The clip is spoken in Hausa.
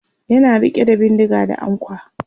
yana rike da bindinga da ankwa